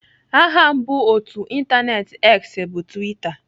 Aha mbụ otú ịntaneetị X bụ Twitter.